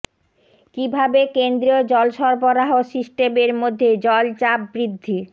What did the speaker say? কিভাবে কেন্দ্রীয় জল সরবরাহ সিস্টেমের মধ্যে জল চাপ বৃদ্ধি